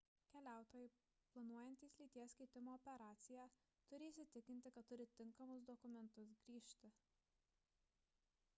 keliautojai planuojantys lyties keitimo operaciją turi įsitikinti kad turi tinkamus dokumentus grįžti